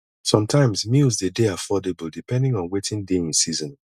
sometimes meals dey dey affordable depending on wetin dey in season